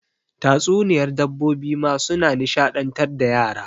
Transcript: Tatsuniyar dabbobi ma suna nishaɗantar da yara.